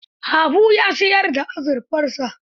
Habu ya siyar da azurfarsa.